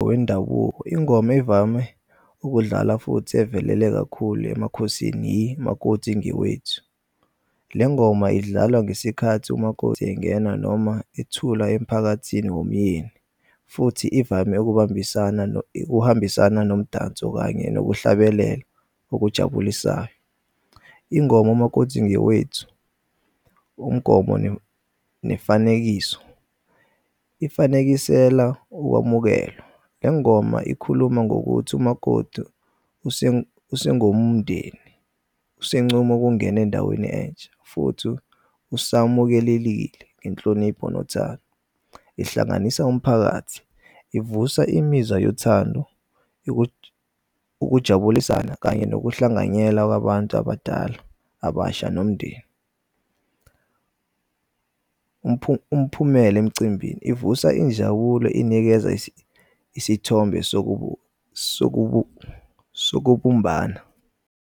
Wendabuko, ingoma evame ukudlala futhi evelele kakhulu emakhosini yimakoti ngewethu. Le ngoma idlalwa ngesikhathi umakoti engena noma ethula emphakathini wumyeni futhi ivame ukuhambisana nomdanso kanye nokuhlabelela okujabulisayo. Ingoma umakotsi ngewethu umgomo nefanekiso ifanekisela ukwamukelwa. Le ngoma ikhuluma ngokuthi umakotu sengomndeni usencom'ukungen'endaweni entsha futhi usamukelelile ngenhlonipho nothando. Ihlanganisa umphakathi, ivusa imizwa yothando ukujabulisana kanye nokuhlanganyela kwabantu abadala, abasha nomndeni. Umphumela emcimbini ivusa injabulo inikeza isithombe sokubumbana.